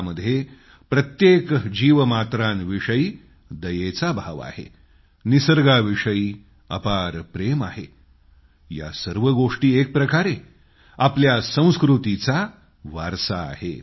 त्यामध्ये प्रत्येक जीवमात्रांविषयी दयेचा भाव आहे निसर्गाविषयी अपार प्रेम आहे या सर्व गोष्टी एकप्रकारे आपल्या संस्कृतीचा वारसा आहेत